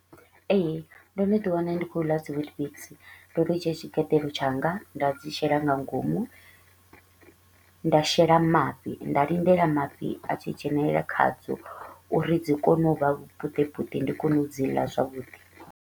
Ee, ndo no ḓi wana ndi kho u ḽa dzi Weetbix, ndo ḓo dzhia tshigeḓelo tshanga nda dzi shela nga ngomu, nda shela mafhi nda lindela mafhi a tshi dzhenelela khadzo uri dzi kone u vha vhupuṱepuṱe ndi kone u dzi ḽa zwavhuḓi.